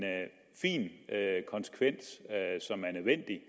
fin konsekvens som er nødvendig